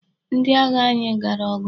Ndị agha anyị gara ọgụ.